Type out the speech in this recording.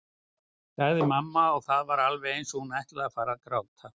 sagði mamma og það var alveg eins og hún ætlaði að fara að gráta.